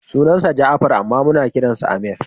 Sunansa Ja'afar amma muna kiransa Ameer.